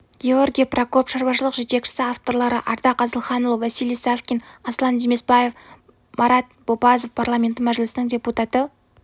георгий прокоп шаруашылық жетекшісі авторлары ардақ асылханұлы василий савкин аслан демесбаев марат бопазов парламенті мәжілісінің депутаты